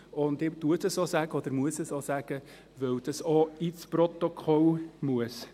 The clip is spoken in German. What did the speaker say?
Ich sage das und muss es sagen, weil das auch ins Protokoll gehört.